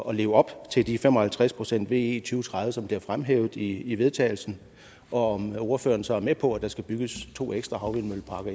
at leve op til de fem og halvtreds procent ve i to tredive som bliver fremhævet i forslaget til vedtagelse og om ordføreren så er med på at der skal bygges to ekstra havvindmølleparker